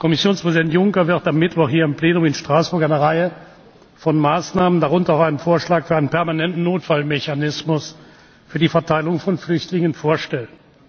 Kommissionspräsident Juncker wird am Mittwoch hier im Plenum in Straßburg eine Reihe von Maßnahmen darunter auch einen Vorschlag für einen permanenten Notfallmechanismus für die Verteilung von Flüchtlingen vorstellen.